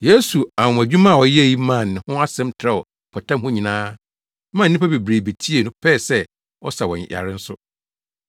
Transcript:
Yesu anwonwadwuma a ɔyɛe yi maa ne ho asɛm trɛw mpɔtam hɔ nyinaa maa nnipa bebree betiee no pɛɛ sɛ ɔsa wɔn yare nso.